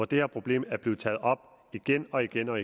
det her problem blevet taget op igen og igen når